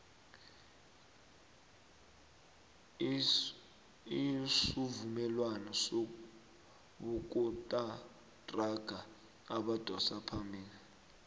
isuvumelwano sobosokontraga abadosa phambili